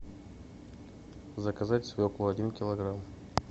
заказать свеклу один килограмм